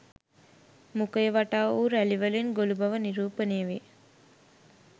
මුඛය වටා වූ රැළි වලින් ගොළු බව නිරූපනය වේ.